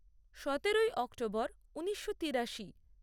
সতেরোই অক্টোবর ঊনিশো তিরাশি